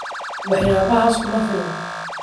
Waxyaabahaas kuma filna